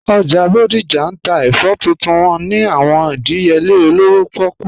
Ojá Bodija n tà èfọ̀ tuntun wọn ni àwọn ìdíyèlè òlówó pọ̀kú